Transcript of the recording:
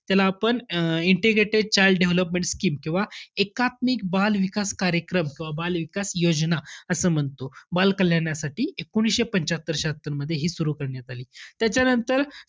त्याला आपण अं integrated child development scheme किंवा एकात्मिक बाल विकास कार्यक्रम किंवा बाल विकासयोजना असं म्हणतो. बालकल्याणासाठी एकोणीसशे पंच्यात्तर शहात्तरमध्ये हि सुरु करण्यात आली. त्याच्यानंतर,